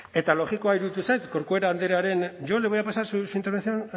eta logikoa iruditu zait corcuera andrearen yo le voy a pasar su intervención